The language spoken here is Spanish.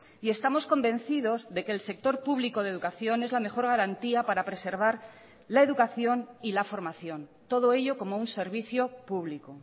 y estamos convencidos de que el sector público de educación es la mejor garantía para preservar la educación y la formación todo ello como un servicio público